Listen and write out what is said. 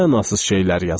Nə mənasız şeylər yazır?